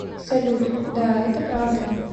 салют да это правда